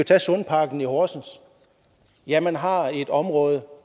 tage sundparken i horsens ja man har et område